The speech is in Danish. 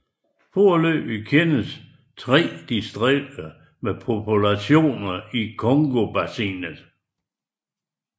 Foreløbig kendes tre distinkte populationer i Congobassinet